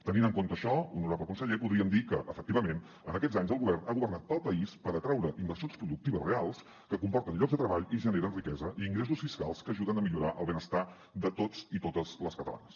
tenint en compte això honorable conseller podríem dir que efectivament en aquests anys el govern ha governat pel país per atraure inversions productives reals que comporten llocs de treball i generen riquesa i ingressos fiscals que ajuden a millorar el benestar de tots i totes les catalanes